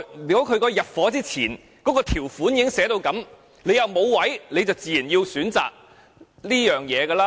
如果入伙前條款已這麼訂明，沒有龕位時，人們便自然要這樣選擇。